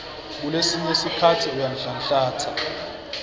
kulesinye sikhatsi uyanhlanhlatsa